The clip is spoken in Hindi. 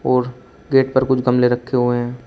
और गेट पर कुछ गमले रखे हुए हैं।